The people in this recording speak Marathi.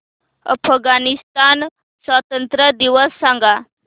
अफगाणिस्तान स्वातंत्र्य दिवस सांगा